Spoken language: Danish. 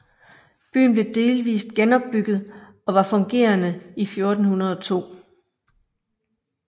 Byen blev delvist genopbygget og var fungerende i 1402